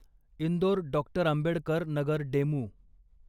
Indore doctor Ambedkar Nagar DEMU